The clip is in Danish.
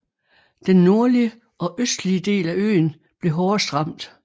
Den nordlige og østlige del af øen blev hårdest ramt